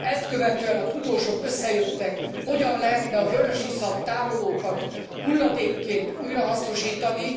Ezt követően a tudósok összejöttek, hogyan lehetne a vörösiszap tárolókat hulladékként újrahasznosítani.